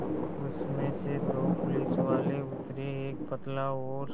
उसमें से दो पुलिसवाले उतरे एक पतला और